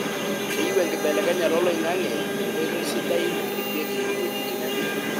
keyieu enkibelekenyata oloingange enkotoi sidai naripieki eweujitin enkare.